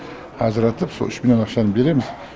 ажыратып со үш миллион ақшаны береміз